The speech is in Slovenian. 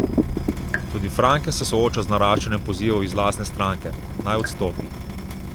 Tudi Franken se sooča z naraščanjem pozivov iz lastne stranke, naj odstopi.